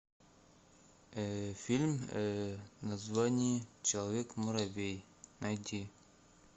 фильм название человек муравей найти